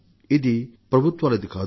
ఇది ప్రభుత్వాలది కాదు